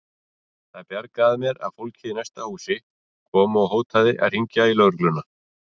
Það bjargaði mér að fólkið í næsta húsi kom og hótaði að hringja í lögregluna.